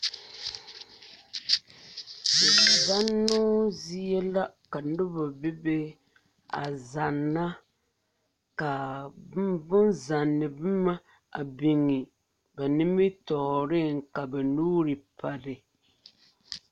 Zannoo zie la ka noba bebe a zanna k,a bonzanne boma a biŋe ba nimitɔɔreŋ ka ba nuuri pare.